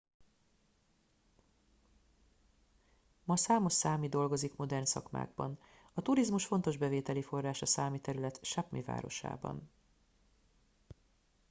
ma számos számi dolgozik modern szakmákban a turizmus fontos bevételi forrás a számi terület sápmi városában